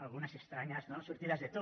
algunes estranyes sortides de to